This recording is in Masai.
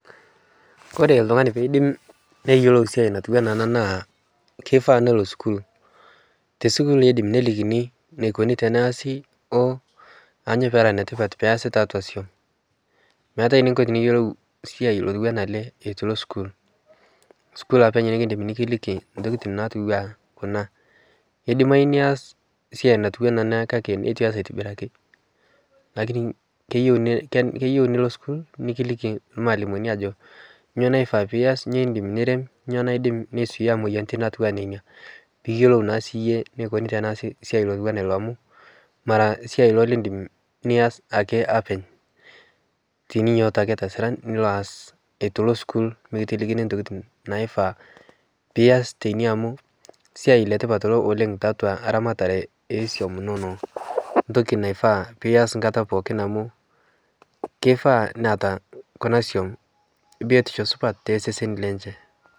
kore ltungani peidim neyelou siai natuwana ana naa keifaa neloo sukuul tesukuul eidim nelikini neikoni teneazi duo anyo pera netipat peasi taatua som meatai ninko tiniyolou siai otuwana alee etuu ilo sukuul. Sukuul apeny nikindim nikiliki ntokitin natuwaa kunaa keidimai niaz siai natuwana ana kake netu ias aitibiraki lakini keyeu nilo sukuul nikiliki lmaalimoni ajoo nyo naifaa piyas nyo indim nirem nyo naidim naisuiyaa moyaritin natuwaa nenia piiyelou naa sii yie neikuni tanaazi siai lotuwana iloo amu maraa siai ilo lindim nias ake apeny tininyooto ake tasiran nilo aas etuu ilo sukuul mikitilikini ntokitin naifaa piyas teinie amu siai letipat ilo oleng taatua ramataree esuom inonoo ntoki naifaa pias nkata pookin amuu keifaa neata kuna suom biotisho supat teseseni lenshe